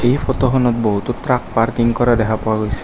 এই ফটো খনত বহুতো ট্ৰাক পাৰ্কিং কৰা দেখা পোৱা গৈছে।